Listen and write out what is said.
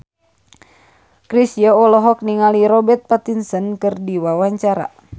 Chrisye olohok ningali Robert Pattinson keur diwawancara